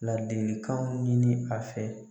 Ladilikanw ɲini a fɛ